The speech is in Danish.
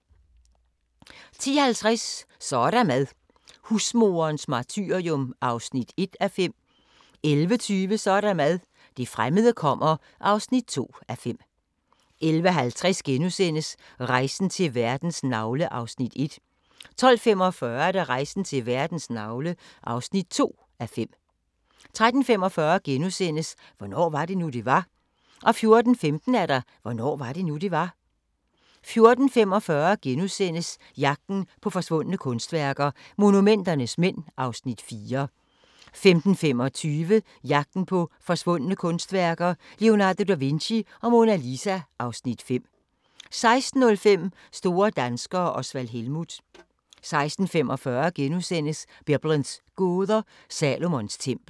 10:50: Så er der mad – husmoderens martyrium (1:5) 11:20: Så er der mad – det fremmede kommer (2:5) 11:50: Rejsen til verdens navle (1:5)* 12:45: Rejsen til verdens navle (2:5) 13:45: Hvornår var det nu, det var? * 14:15: Hvornår var det nu, det var? 14:45: Jagten på forsvundne kunstværker – Monumenternes mænd (Afs. 4)* 15:25: Jagten på forsvundne kunstværker - Leonardo da Vinci og Mona Lisa (Afs. 5) 16:05: Store danskere - Osvald Helmuth 16:45: Biblens gåder – Salomons tempel *